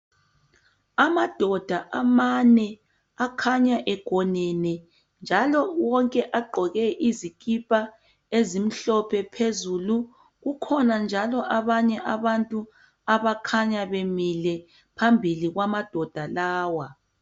Amadoda amane akhanya egonene njalo wonke agqoke izikipa ezimhlophe phezulu kukhona njalo abanye abantu abakhanya bemile phambili kwamadoda lawa.